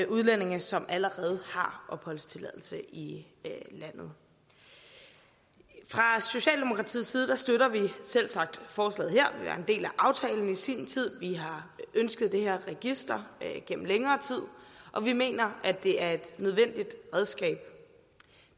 udlændinge som allerede har opholdstilladelse i landet fra socialdemokratiets side støtter vi selvsagt forslaget her vi var en del af aftalen i sin tid vi har ønsket det her register gennem længere tid og vi mener at det er et nødvendigt redskab